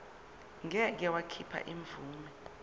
ngeke wakhipha imvume